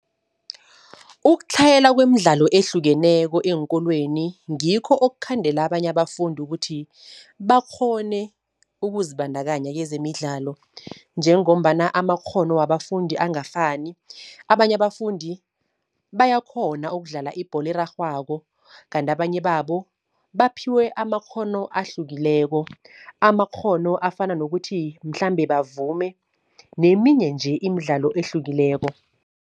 Ukutlhayela kwemidlalo ehlukeneko eenkolweni ngikho okukhandela abanye abafundi ukuthi bakghone ukuzibandakanya kezemidlalo. Njengombana amakghono wabafundi angafani, abanye abafundi bayakghona ukudlala ibholo erarhwako, kanti abanye babo baphiwe amakghono ahlukileko. Amakghono afana nokuthi mhlambe bavume neminye nje imidlalo ehlukileko.